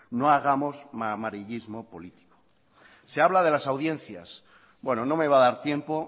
no hagamos amarillismo político se habla de la audiencias bueno no me va a dar tiempo